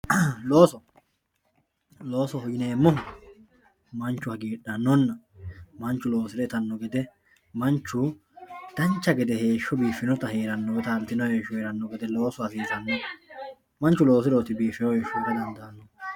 looso loosoho yineemohu manchu hagiidhanonna manchu loosire itanno gede manchu dancha gede heeshsho biifinota heeranno woy taltino heeshsho heeranno gede loosu hasiisanno manchu loosirooti bifiiyo heesho heera dandaanohu.